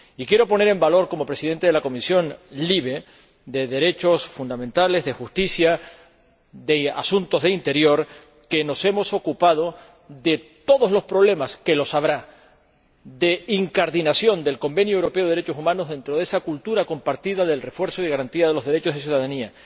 Y quiero poner en valor, como Presidente de la Comisión de Libertades Civiles, Justicia y Asuntos de Interior, que nos hemos ocupado de todos los problemas —que los habrá— de incardinación del Convenio Europeo de Derechos Humanos dentro de esa cultura compartida del refuerzo y garantía de los derechos y la ciudadanía.